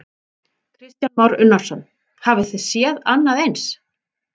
Kristján Már Unnarsson: Hafi þið séð annað eins?